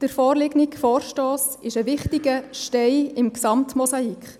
Der vorliegende Vorstoss ist ein wichtiger Stein im Gesamtmosaik.